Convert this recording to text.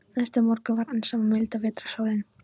Næsta morgun var enn sama milda vetrarsólin.